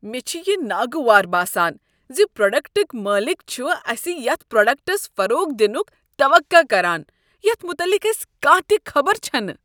مےٚ چھ یہ ناگوار باسان ز پروڈکٹٕکۍ مٲلک چھ اسہ یتھ پروڈکٹس فروغ دنُٕک توقع کران یتھ متعلق اسہ کانٛہہ تہ خبر چھنہٕ۔